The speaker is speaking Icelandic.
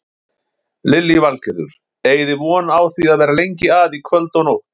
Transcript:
Lillý Valgerður: Eigið þið von á því að vera lengi að í kvöld og nótt?